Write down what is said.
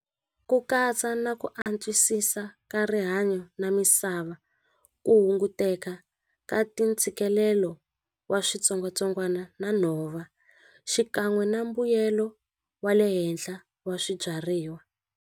Ku katsa na ku antswisisa ka rihanyo na misava ku hunguteka ka ti ntshikelelo wa switsongwatsongwana na nhova xikan'we na mbuyelo wa le henhla wa swibyariwa.